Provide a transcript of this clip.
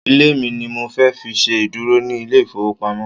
Ilé mi ni mo fẹ́ fi ṣe ìdúró ní ilé ìfowópamọ́.